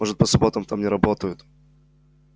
может по субботам там не работают